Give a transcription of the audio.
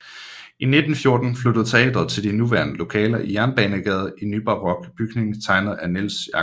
I 1914 flyttede teatret til de nuværende lokaler i Jernbanegade i en nybarok bygning tegnet af Niels Jacobsen